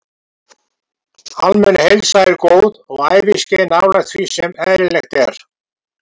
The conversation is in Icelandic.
Almenn heilsa er góð og æviskeið nálægt því sem eðlilegt er.